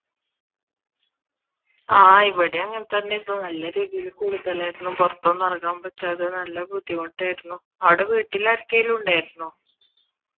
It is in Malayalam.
ആഹ് ഇവിടേം അങ്ങനെ തന്നെ ആയിരുന്നു നല്ല രീതിയിൽ കൂടുതലായിരുന്നു പുറത്തൊന്നും ഇറങ്ങാൻ പറ്റാതെ നല്ല ബുദ്ധിമുട്ട് ആയിരുന്നു അവിടെ വീട്ടിൽ ആരെക്കെലും ഉണ്ടായിരുന്നോ?